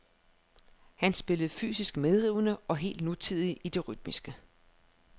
Han spillede fysisk medrivende og helt nutidigt i det rytmiske.